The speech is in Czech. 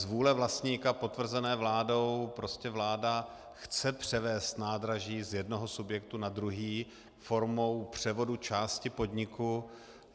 Z vůle vlastníka potvrzené vládou prostě vláda chce převést nádraží z jednoho subjektu na druhý formou převodu části podniku.